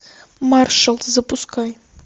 маршал запускай